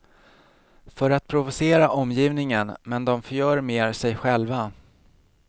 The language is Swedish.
För att provocera omgivningen, men de förgör mer sig själva.